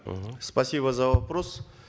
мхм спасибо за вопрос